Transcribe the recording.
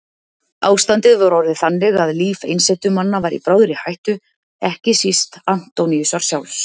Ástandið var orðið þannig að líf einsetumanna var í bráðri hættu, ekki síst Antóníusar sjálfs.